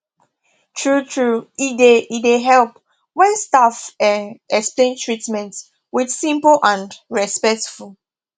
truetrue e dey e dey help when staff um explain treatment with simple and respectful